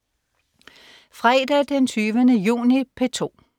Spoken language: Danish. Fredag den 20. juni - P2: